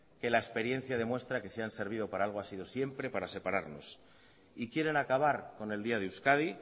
que la experiencia demuestra que si han servido para algo ha sido siempre para separarnos y quieren acabar con el día de euskadi